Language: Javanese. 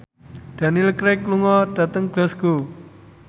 Daniel Craig lunga dhateng Glasgow